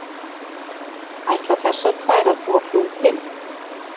ætla þessar tvær að þvo klútinn